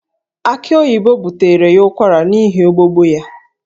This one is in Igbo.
Aki oyibo butere ya ụkwara n'ihi igbogbo ya